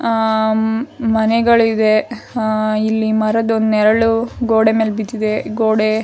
ಆಹ್ಹ್ ಮನೆಗಳಿವೆ ಆಹ್ಹ್ ಇಲ್ಲಿ ಮರದ ನೆರಳು ಗೋಡೆ ಮೇಲೆ ಬಿದ್ದಿದೆ ಗೋಡೆ--